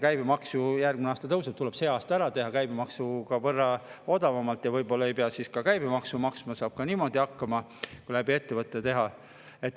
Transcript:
Käibemaks ju järgmisel aasta tõuseb, nii et tuleb sel aastal ära teha käibemaksu võrra odavamalt, võib-olla ei pea siis ka käibemaksu maksma, saab niimoodi hakkama, kui seda läbi ettevõte teha.